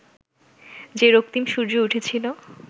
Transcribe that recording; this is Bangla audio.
যে রক্তিম সূর্য উঠেছিল